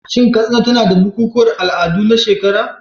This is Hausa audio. Shin Katsina tana da bukukuwan al'adu na shekara?